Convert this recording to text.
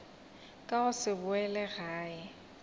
ka go se boele gae